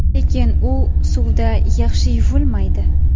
Lekin u suvda yaxshi yuvilmaydi.